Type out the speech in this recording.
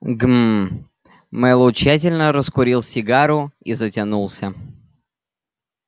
гм мэллоу тщательно раскурил сигару и затянулся